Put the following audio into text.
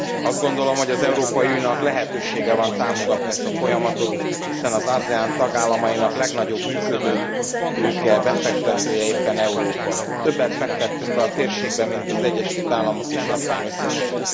Azt gondolom, hogy az Európai Uniónak lehetősége van támogatni ezt a folyamatot, hiszen az ASEAN tagállamainak legnagyobb működőtőke befektetője éppen Európa. Többet fektettünk be a térségbe, mint az Egyesült Államok és Japán összesen!